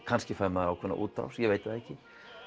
kannski fær maður ákveðna útrás ég veit það ekki